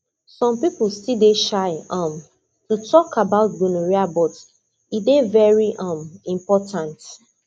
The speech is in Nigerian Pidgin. some people still dey shy um to talk about gonorrhea but e dey very um important